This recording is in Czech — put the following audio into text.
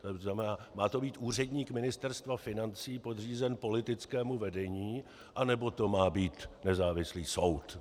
To znamená, má to být úředník Ministerstva financí podřízený politickému vedení, anebo to má být nezávislý soud?